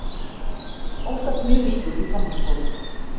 Óttast niðurskurð í framhaldsskólum